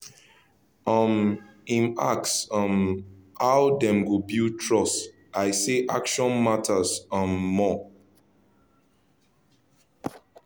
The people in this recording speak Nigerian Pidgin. um him ask um how dem go build trust i say action matter um more